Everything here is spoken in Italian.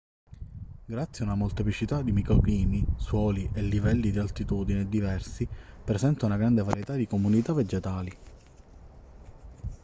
grazie a una molteplicità di microclimi suoli e livelli di altitudine diversi presenta una grande varietà di comunità vegetali